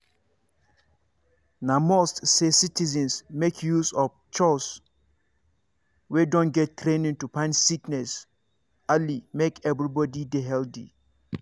na must say citizens make use of chws wey don get training to find sickness early make everybody dey healthy.